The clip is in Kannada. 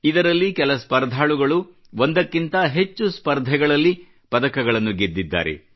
ಇದರಲ್ಲಿ ಕೆಲ ಸ್ಪರ್ಧಾಳುಗಳು ಒಂದಕ್ಕಿಂತ ಹೆಚ್ಚು ಸ್ಪರ್ಧೆಗಳಲ್ಲಿ ಪದಕಗಳನ್ನು ಗೆದ್ದಿದ್ದಾರೆ